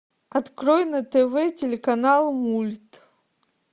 открой на тв телеканал мульт